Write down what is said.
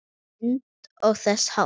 Myndir og þess háttar.